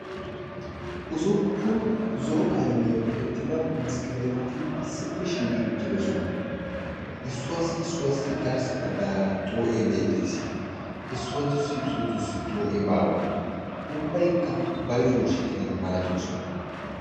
ussuppun zo'o qalamiyan tiyettida mesqeleeteti issippe shiiqi uttidosona. issuwaassi issuwaassi garssa baggaara xoo'ee beettees. issootussi issootussi xoo'ee baawa. ubbayikka bayizuwawu shiiqidaba malatoosona.